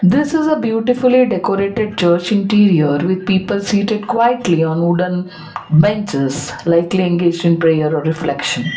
this is a beautifully decorated church interior with people seated quietly on wooden benches likely engaging prayer or reflection.